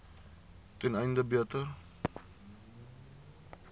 ten einde beter